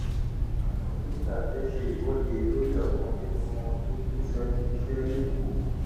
àwọn dókítà fẹẹ ṣe ìwọde lórí ọkan nínú wọn tó kù sẹnu iṣẹ lẹkọọ